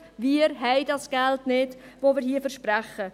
Wir haben das Geld nicht, welches wir hier versprechen.